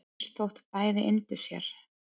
eins þótt bæði yndu sér